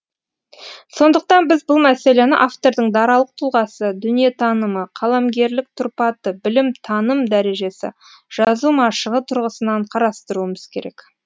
сондықтан біз бұл мәселені автордың даралық тұлғасы дүниетанымы қаламгерлік тұрпаты білім таным дәрежесі жазу машығы тұрғысынан қарастыруымыз керек